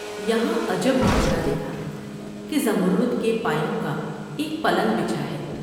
یہاں عجب ماجرا دیکھا کہ زمرد کے پایوں کا ایک پلنگ بچا ہے ۔